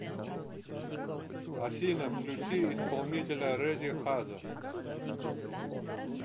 афина включи исполнителя рэди хаза